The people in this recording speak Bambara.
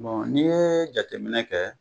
Bon n'i ye jateminɛ kɛ